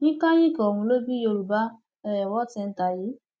incayic ọhún ló bí yorùbá um world centre yìí